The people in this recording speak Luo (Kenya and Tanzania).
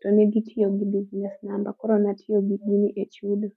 to negitiyo gi business number koro natiyo gi gini e chudo